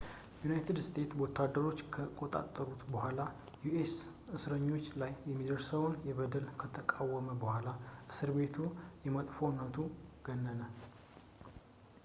የዩናይትድ ስቴትስ ወታደሮች ከተቆጣጠሩት በኋላ በus እስረኞች ላይ የሚደርሰው በደል ከታወቀ በኋላ እስር ቤቱ በመጥፎነቱ ገነነ